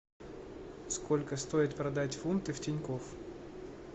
сколько стоит продать фунты в тинькофф